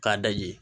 K'a da yen